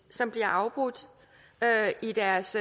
som bliver afbrudt i deres